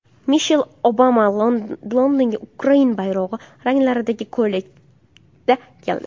Mishel Obama Londonga Ukraina bayrog‘i ranglaridagi ko‘ylakda keldi.